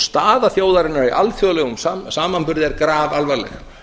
staða þjóðarinnar í alþjóðlegum samanburði er grafalvarleg